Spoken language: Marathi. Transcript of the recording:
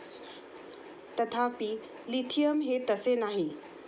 तथापि, लिथियम हे तसे नाही.